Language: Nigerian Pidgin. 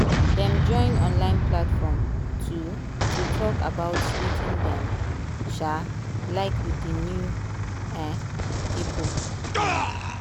dem join online platform to to talk about wetin dem um like with new um people. um